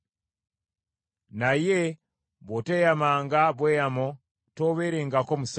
Naye bw’oteeyamanga bweyamo toobeerengako musango.